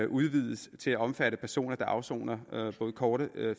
udvides til at omfatte personer der afsoner både korte